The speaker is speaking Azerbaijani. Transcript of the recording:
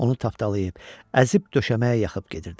Onu tapdalayıb, əzib döşəməyə yaxıb gedirdi.